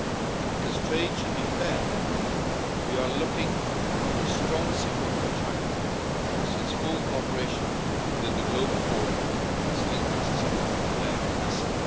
And, because trade should be fair, we are looking for a strong signal from China as to its full cooperation within the Global Forum on Steel Access Capacity.